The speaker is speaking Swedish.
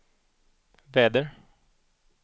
väder